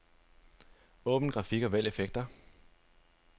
Åbn grafik og vælg effekter.